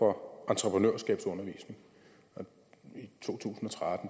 hvor man